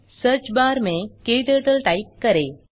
search bar में क्टर्टल type करें